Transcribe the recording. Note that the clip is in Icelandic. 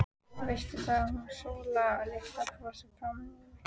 Veistu það, að hún Sóla litla brosti framan í mig.